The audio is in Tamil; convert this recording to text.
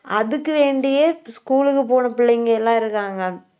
அதுக்கு வேண்டியே school க்கு போன பிள்ளைங்க எல்லாம் இருக்காங்க